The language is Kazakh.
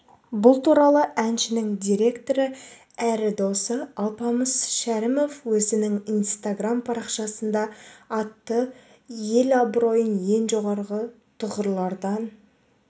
бұл туралы әншінің директоры әрі досы алпамыс шәрімов өзінің инстаграм-парақшасында айтты ел абыройын ең жоғарғы тұғырлардан